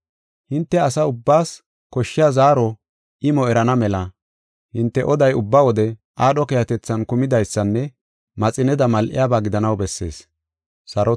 Hinte asa ubbaas koshshiya zaaro imo erana mela hinte oday ubba wode aadho keehatethan kumidaysanne maxineda mal7iyabaa gidanaw bessees.